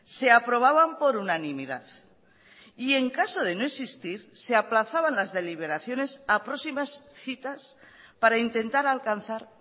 se aprobaban por unanimidad y en caso de no existir se aplazaban las deliberaciones a próximas citas para intentar alcanzar